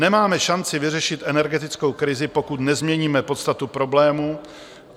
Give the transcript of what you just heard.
Nemáme šanci vyřešit energetickou krizi, pokud nezměníme podstatu problémů.